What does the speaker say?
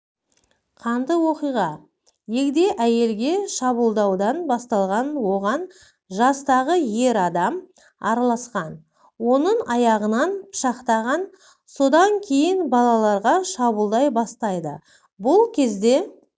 қанды оқиға егде әйелге шабуылдаудан басталған оған жастағы ер адам араласқан оның аяғынан пышақтаған содан кейін балаларға шабуылдай бастайды бұл кезде